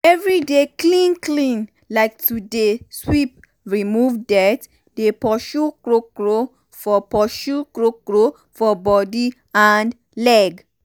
everyday clean clean like to dey um sweep remove dirty um dey pursue krokro for pursue krokro for body and leg.